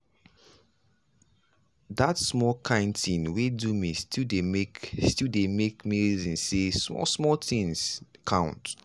that small kind thing wey do me still dey make still dey make me reason say small small things count.